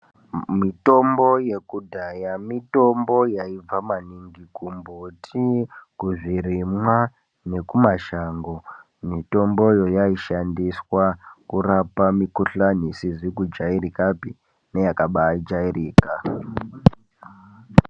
Mitombo yekudhaya mitombo yaibva maningi kumbuti kuzvirimwa nekumashango mitombo iyi yaishandiswa kurapa mikuhlani isizi kujairikapi neyakaba jairika.